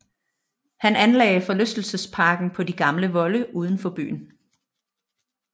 Han anlagde forlystelsesparken på de gamle volde uden for byen